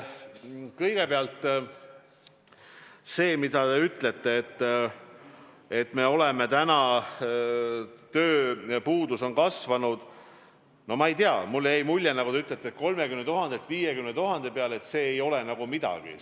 Kõigepealt see, mis te ütlesite, et tööjõupuudus on kasvanud, no ma ei tea, mulle jäi mulje, et te ütlesite 30 000-lt 50 000 peale ja et see ei ole nagu midagi.